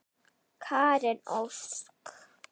Karen Ósk.